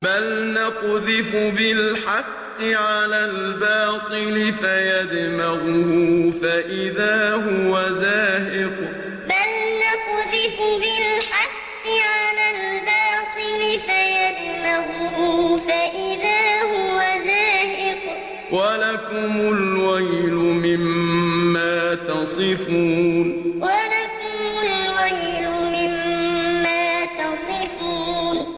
بَلْ نَقْذِفُ بِالْحَقِّ عَلَى الْبَاطِلِ فَيَدْمَغُهُ فَإِذَا هُوَ زَاهِقٌ ۚ وَلَكُمُ الْوَيْلُ مِمَّا تَصِفُونَ بَلْ نَقْذِفُ بِالْحَقِّ عَلَى الْبَاطِلِ فَيَدْمَغُهُ فَإِذَا هُوَ زَاهِقٌ ۚ وَلَكُمُ الْوَيْلُ مِمَّا تَصِفُونَ